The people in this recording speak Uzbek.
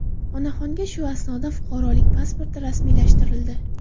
Onaxonga shu asosda fuqarolik pasporti rasmiylashtirildi.